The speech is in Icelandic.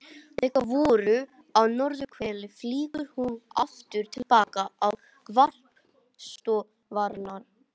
Þegar vorar á norðurhveli flýgur hún aftur til baka á varpstöðvarnar.